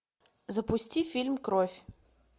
запусти фильм кровь